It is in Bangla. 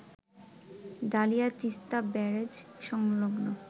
ডালিয়া তিস্তা ব্যারেজ সংলগ্ন